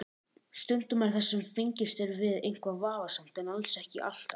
Stundum er það sem fengist er við eitthvað vafasamt en alls ekki alltaf.